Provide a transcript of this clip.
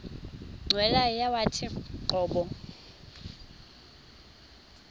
cweya yawathi qobo